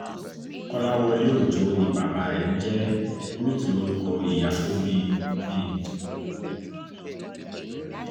kọ́láwọ́lé ọjọ́ ni bàbá rẹ̀ ń jẹ́ ruth lórúkọ ìyá tó bí i bí i